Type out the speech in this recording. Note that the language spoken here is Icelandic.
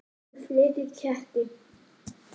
Ekki fleiri ketti.